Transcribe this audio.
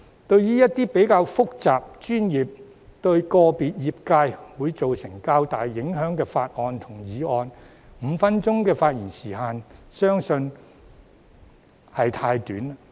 對於一些較複雜、專業及對個別業界會造成較大影響的法案和議案 ，5 分鐘的發言時限相信是太短。